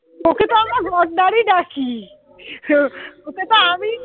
ওকে তো আমরা গন্ডারই ডাকি ওকে তো আমি